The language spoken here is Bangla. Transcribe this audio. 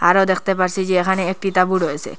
আরও দেখতে পারছি যে এখানে একটি তাঁবু রয়েছে।